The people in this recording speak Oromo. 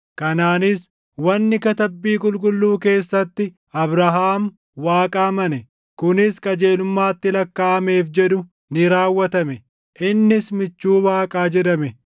Kanaanis wanni katabbii qulqulluu keessatti, “Abrahaam Waaqa amane; kunis qajeelummaatti lakkaaʼameef” + 2:23 \+xt Uma 15:6\+xt* jedhu ni raawwatame; innis michuu Waaqaa jedhame.